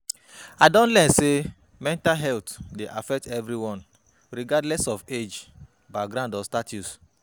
I don learn say mental health dey affect everyone regardless of age, background or status.